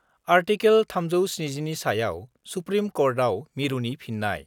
article 370 नि सायाव supreme कर्टआव मिरुनि फिन्नाय